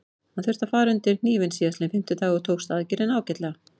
Hann þurfti að fara undir hnífinn síðastliðinn fimmtudag og tókst aðgerðin ágætlega.